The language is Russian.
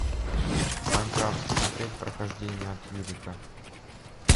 майнкрафт смотреть прохождение от юрика